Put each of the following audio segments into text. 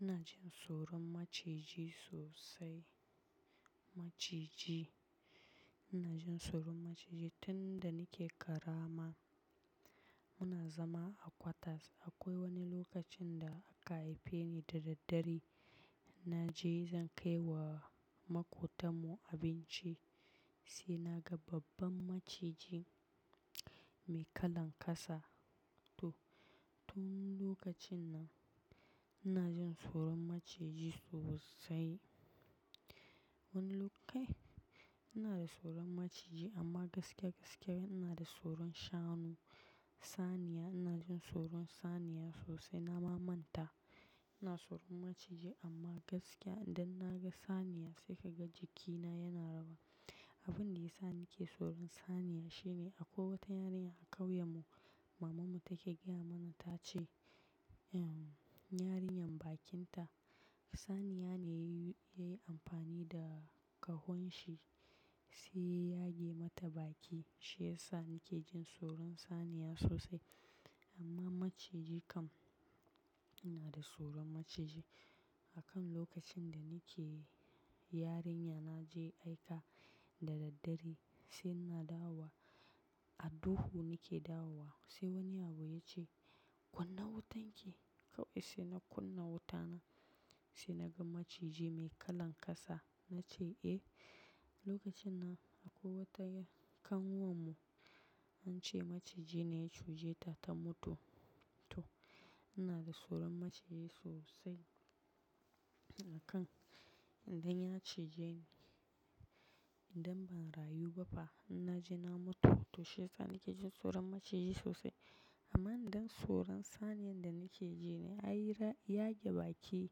Ina jin tsoron maciji sosai. Maciji, ina jin tsoron maciji tun da nake ƙarama. Muna zama a quarters, akwai wani lokacin da aka haife ni da daddare. Na je zan kai wa maƙotarmu abinci sai na ga babban maciji mai kalan ƙasa. To tun lokacin nan ina jin tsoron maciji sosai. Wani lo, kai ina tsoron maciji amma gaskiya gaskiya ina da tsoron shanu. Saniya ina jin tsoron saniya sosai. Na mamanta, ina tsoron maciji amma gaskiya idan na ga saniya sai ka ga jikina yana rawa. Abin da yasa nake tsoron saniya shine a kwai wata yarinya a ƙauyenmu, mamanmu take gaya mana ta ce, eh yarinyar bakinta, saniya ne yayi amfani da ƙahon shi sai ya yage mata baki. Shi yasa nake jin tsoron saniya sosai. Amma maciji kam ina da tsoron maciji. Akan lokacin da nake yarinya na je aika da daddare sai ina dawo a duhu nake dawowa sai wani yaro ya ce "Kunna wutan ki" kawai sai na kunna wuta na, sai naga maciji mai kalan ƙasa. Nace eh, lokacin nan akwai wata ƙanwar mu ance maciji ne ya cijeta ta mutu. To ina da tsoron maciji sosai. Akan idan ya cije ni idan ban rayu ba fa in naje na mutu. To shi yasa nake jin tsoron maciji sosai. Amma idan tsoron saniyan da nake ji ne ai ya yage baki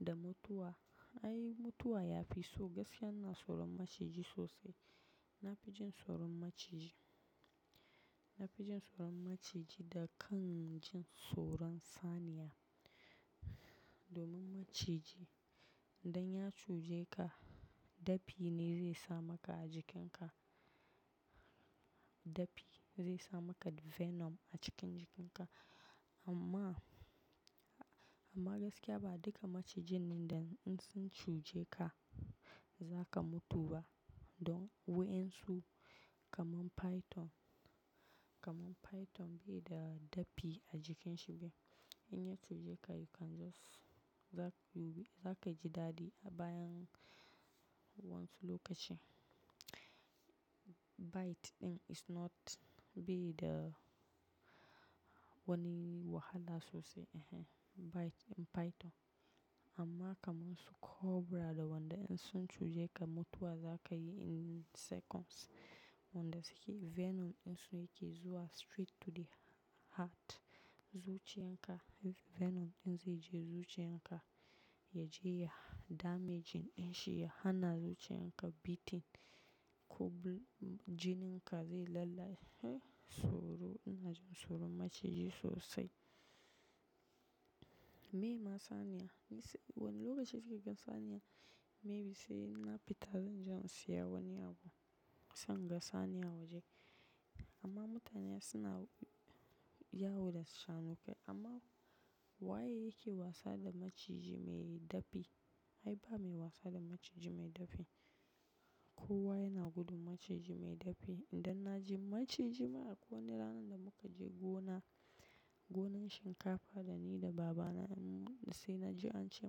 da mutuwa. Ai mutuwa yafi, so gaskiya ina tsoron maciji sosai. Na fi jin tsoron maciji. Nafi jin tsoron maciji da kan jin tsoron saniya. Domin maciji idan ya cije ka dafi ne zai sa maka a jikinka. Dafi zai sa maka venom a cikin jikinka. Amma, amma gaskiya ba duka maciji ne idan sun cije ka zaka mutu ba. Dan waƴan su kamar python, kamar python bai da dafi a jikin shi be. In ya cije ka you can just-- zaka ji daɗi a bayan waƴansu lokaci. Bite ɗin is not bai da wani wahala sosai. Bite python, amma kaman su cobra da wanda in sun cije ka mutuwa zaka yi in seconds. Wanda suke venom ɗin su yake zuwa straight to the heart. Zuciyan ka, venom ɗin zai je zuciyan ka yaje ya damage ɗin shi ya hana zuciyan ka beating. Ɗin shi ya hana zuciyan ka beating. Jinin ka zai lallace. Tsoro, ina jin tsoron maciji sosai. Meye ma saniya, wani lokaci suke gan saniya, maybe sai in na fita zan je in saya wani abu sai in ga saniya a waje. Amma mutane suna yawo da shanukai, amma waye yake wasa da maciji mai dafi? Ai ba mai wasa da maciji mai dapi. Kowa yana gudun maciji mai dafi. Idan naji maciji, ma akwai wani ranar da muka je gona, gonan shinkafa da ni da baba na mun, sai naji ance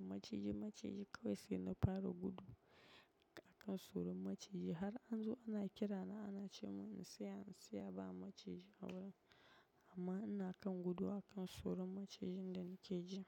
maciji maciji kawai sai na fara gudu. Akan tsoron maciji har an zo ana kirana ana ce mun in tsaya in tsaya ba maciji a gurin. Amma ina kan gudu akan tsoron macijin da nake ji.